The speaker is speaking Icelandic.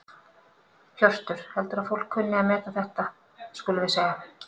Hjörtur: Heldurðu að fólk kunni að meta þetta skulum við segja?